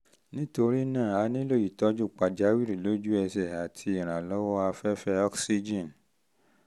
nítorí náà a nílò ìtọ́jú pàjáwìrì lójú ẹsẹ̀ àti ìrànlọ́wọ́ afẹ́fẹ́ oxygen